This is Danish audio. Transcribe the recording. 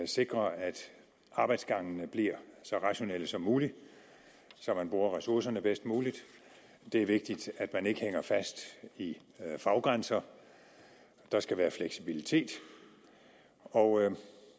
sikre at arbejdsgangene bliver så rationelle som muligt så man bruger ressourcerne bedst muligt det er vigtigt at man ikke hænger fast i faggrænser der skal være fleksibilitet og